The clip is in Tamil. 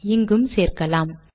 இங்கும் சேர்க்கலாம்